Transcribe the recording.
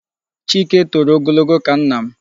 Chike toro ogologo ka nna m.